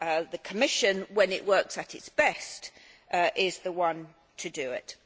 The Commission, when it works at its best, is the one to do it.